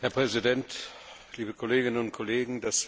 Herr Präsident, liebe Kolleginnen und Kollegen!